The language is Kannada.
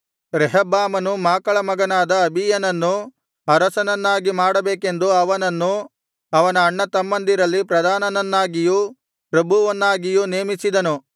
ರೆಹಬ್ಬಾಮನು ಮಾಕಳ ಮಗನಾದ ಅಬೀಯನನ್ನು ಅರಸನನ್ನಾಗಿ ಮಾಡಬೇಕೆಂದು ಅವನನ್ನು ಅವನ ಅಣ್ಣ ತಮ್ಮಂದಿರಲ್ಲಿ ಪ್ರಧಾನನ್ನಾಗಿಯೂ ಪ್ರಭುವನ್ನಾಗಿಯೂ ನೇಮಿಸಿದನು